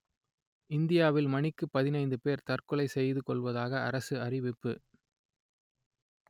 இந்தியாவில் மணிக்கு பதினைந்து பேர் தற்கொலை செய்துகொள்வதாக அரசு தெரிவிப்பு